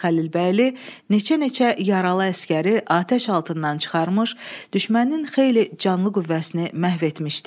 Təbriz Xəlilbəyli neçə-neçə yaralı əsgəri atəş altından çıxarmış, düşmənin xeyli canlı qüvvəsini məhv etmişdi.